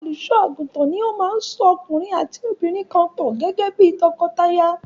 Olùṣọ́-àgùntàn ni ó máa ń so ọkùnrin àti obìnrin kan pọ̀ gẹ́gẹ́ bí i tọkọtaya.